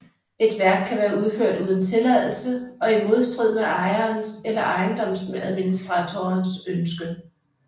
Et værk kan være udført uden tilladelse og i modstrid med ejerens eller ejendomsadministratorens ønske